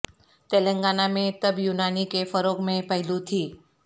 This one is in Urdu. تلنگانہ میں طب یونانی کے فروغ میں پہلو تہی